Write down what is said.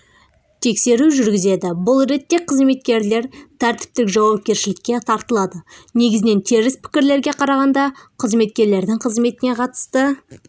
тексеру жүргізеді бұл ретте қызметкерлер тәртіптік жауапкершілікке тартылады негізінен теріс пікірлерге қарағанда қызметкерлердің қызметіне қатысты